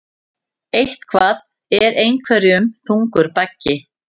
Eitthvað er einhverjum þungur baggi